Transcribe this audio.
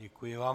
Děkuji vám.